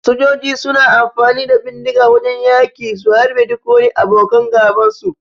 Sojoji suna amfani da bindiga a wajan yaki su harbe duk wani abokan gaban su.